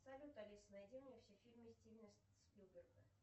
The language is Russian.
салют алиса найди мне все фильмы стивена спилберга